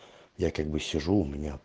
я как бы сижу у меня